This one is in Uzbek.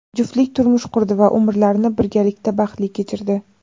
Juftlik turmush qurdi va umrlarini birgalikda baxtli kechirdi.